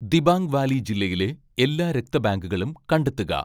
Dibang Valley ജില്ലയിലെ എല്ലാ രക്ത ബാങ്കുകളും കണ്ടെത്തുക